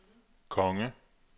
konge